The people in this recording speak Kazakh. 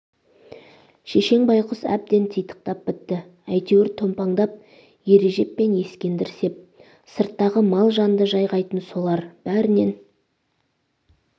шешең байқұс әбден титықтап бітті әйтеуір томпаңдап ережеп пен ескендір сеп сырттағы мал-жанды жайғайтын солар бәрінен